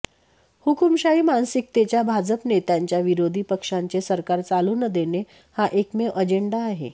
हुकुमशाही मानसिकतेच्या भाजप नेत्यांचा विरोधी पक्षाचे सरकार चालू न देणे हा एकमेव अजेंडा आहे